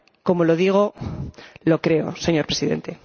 Como lo digo, lo creo, señor Presidente.